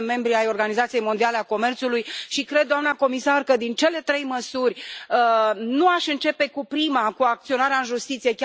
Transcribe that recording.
Suntem membri ai Organizației Mondiale a Comerțului și cred, doamnă comisar, că din cele trei măsuri, nu aș începe cu prima, cu acționarea în justiție.